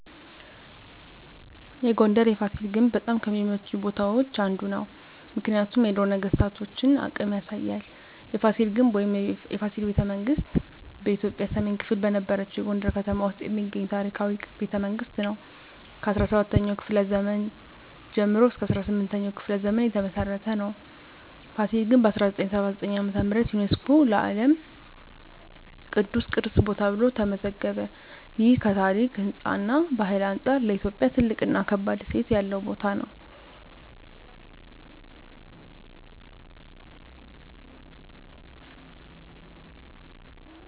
የጎንደር የፋሲል ግንብ በጣም ከሚመቹኝ ቦታዎች አንዱ ነው። ምክንያቱም የድሮ ነገስታቶን አቅም ያሳያል። የፋሲል ግንብ ወይም “የፋሲል ቤተመንግስት ” በኢትዮጵያ ሰሜን ክፍል በነበረችው የጎንደር ከተማ ውስጥ የሚገኝ ታሪካዊ ቤተመንግስት ነው። ከ17ኛው ክፍለ ዘመን ጀምሮ እስከ 18ኛው ክፍለ ዘመን የተመሰረተ ነው። ፋሲል ግንብ በ1979 ዓ.ም. ዩነስኮ የዓለም ቅዱስ ቅርስ ቦታ ተብሎ ተመዘገበ። ይህ ከታሪክ፣ ህንፃ እና ባህል አንጻር ለኢትዮጵያ ትልቅ እና ከባድ እሴት ያለው ቦታ ነው።